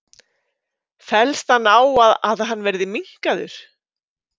Fellst hann á að hann verði minnkaður?